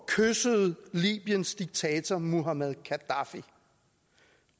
kyssede libyens diktator muammar gaddafi